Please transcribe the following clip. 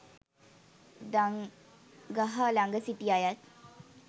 දංගහ ළග සිටි අයත්